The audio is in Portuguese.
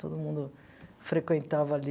Todo mundo frequentava ali.